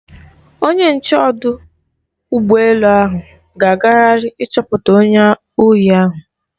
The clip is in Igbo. Onye nche ọdụ ụgbọ elu ahụ ga-agagharị ịchọpụta onye ohi ahụ.